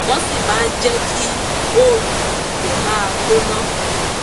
wọ́n sì máa jẹ́ kí òórùn ibẹ̀ máa gbóná